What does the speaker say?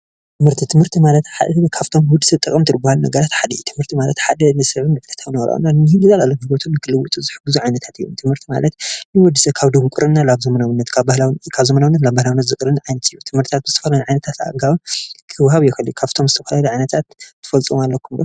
ትምህርቲ፦ ትምህርቲ ማለት ሓደ ካብቶም ንወዲ ሰብ ጠቐምቲ ዝባሃሉ ነገራት ሓደ እዩ፡፡ ትምህርቲ ሓደ ንሰብ ንክልውጡ ዝኽእሉ ሓደ እዩ፡፡ ትምህርቲ ማለት ንወዲ ሰብ ካብ ድንቁርና ናብ ዘመናውነት ካብ ባህላውነት ናብ ዘመናዊነት ዝቕይር ኣገባብ እዩ፡፡ ትምህርቲ ብዝተፈላለዩ ዓይነት ኣገባብ ክዋሃብ ይኽእል እዩ፡፡ ካብቶም ዝተፈላለዩ ዓይነታት ኣገባብ ኣዋህባ ት/ቲ ትፈልጥዎም ኣለኩም ዶ?